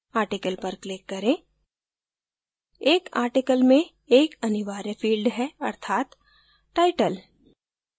article पर click करें एक article में एक अनिवार्य field है अर्थात title